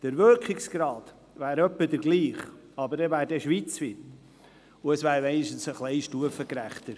Der Wirkungsgrad wäre in etwa derselbe, aber dafür schweizweit, und es wäre wenigstens ein wenig stufengerechter.